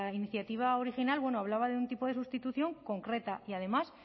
iniciativa original hablaba de un tipo de sustitución concreta y además